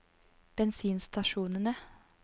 bensinstasjonene